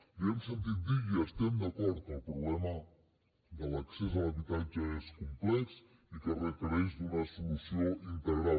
li hem sentit dir i hi estem d’acord que el problema de l’accés a l’habitatge és complex i que requereix una solució integral